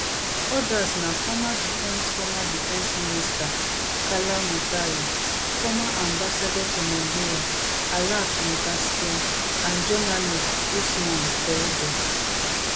odas na former defence former defence minister kalla moutari former ambassador to nigeria alat mogaskia and journalist ousmane toudou